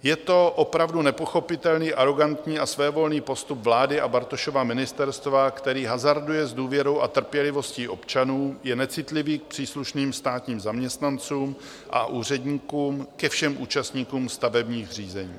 Je to opravdu nepochopitelný, arogantní a svévolný postup vlády a Bartošova ministerstva, který hazarduje s důvěrou a trpělivostí občanů, je necitlivý k příslušným státním zaměstnancům a úředníkům, ke všem účastníkům stavebních řízení.